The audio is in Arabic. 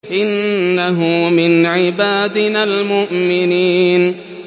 إِنَّهُ مِنْ عِبَادِنَا الْمُؤْمِنِينَ